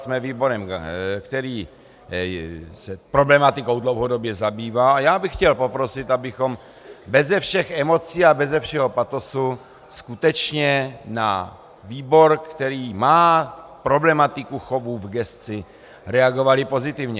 Jsme výborem, který se problematikou dlouhodobě zabývá, a já bych chtěl poprosit, abychom beze všech emocí a beze všeho patosu skutečně na výbor, který má problematiku chovu v gesci, reagovali pozitivně.